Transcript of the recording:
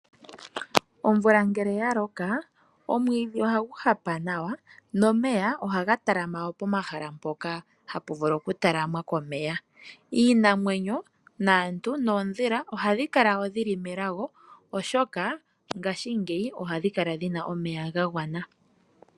Omvula ngele yaloka omwidhi ohagu hapa nawa nomeya ohaga talama po mahala mpoka hapu vulu oku talamwa komeya. Iinamwenyo, aantu noodhila ohadhi kala woo dhili melago oshoka ngaashingeyi ohadhi kala dhina omeya gagwana .